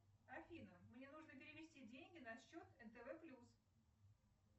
афина мне нужно перевести деньги на счет нтв плюс